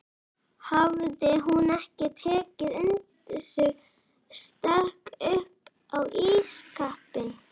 Hafði hún ekki tekið undir sig stökk upp á ísskápinn!